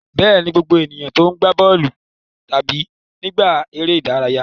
Bẹ́ẹ̀ni, gbogbo ènìyàn ló ń gbá bọ́ọ̀lù tábìlì nígbà eré ìdárayá.